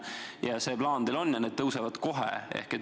Et see plaan teil on ja need pensionid tõusevad kohe.